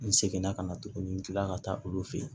N seginna ka na tuguni n kila ka taa olu fɛ yen